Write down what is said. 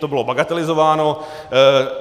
To bylo bagatelizováno.